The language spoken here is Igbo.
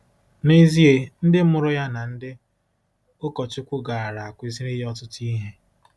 N'ezie, ndị mụrụ ya na ndị ụkọchukwu gaara akụziri ya ọtụtụ ihe.